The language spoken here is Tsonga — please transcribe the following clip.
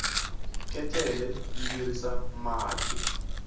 ketlela yi virisa mati